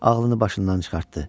Ağlını başından çıxartdı.